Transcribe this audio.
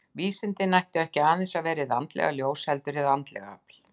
Vísindin ættu ekki aðeins að vera hið andlega ljós, heldur og hið andlega afl.